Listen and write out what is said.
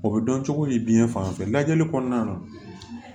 O bɛ dɔn cogo di biɲɛ fan bɛɛ lajɛli kɔnɔna na